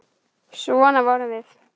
Svona vorum við.